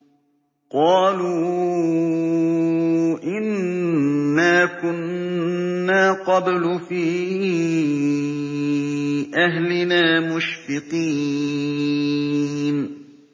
قَالُوا إِنَّا كُنَّا قَبْلُ فِي أَهْلِنَا مُشْفِقِينَ